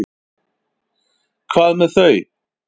Hvað með þau?